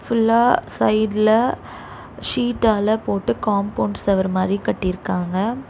ஃபுல்லா சைடுல ஷீட்டால போட்டு காம்பவுண்ட் செவரு மாரி கட்டி இருக்காங்க.